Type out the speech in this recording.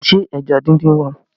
Ṣé ẹja díndín wà?